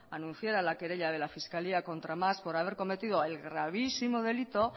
anunciara la querella de la fiscalía contra mas por haber cometido el gravísimo delito